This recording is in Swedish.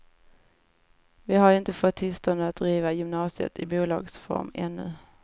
Vi har ju inte fått tillstånd att driva gymnasiet i bolagsform ännu.